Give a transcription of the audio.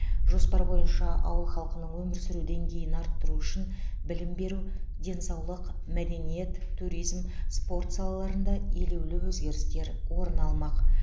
жоспар бойынша ауыл халқының өмір сүру деңгейін арттыру үшін білім беру денсаулық мәдениет туризм спорт салаларында елеулі өзгерістер орын алмақ